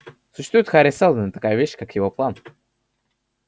существует хари сэлдон и такая вещь как его план